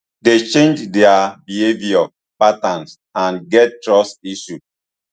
dey change dia behaviour patterns and get trust issues